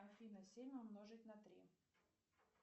афина семь умножить на три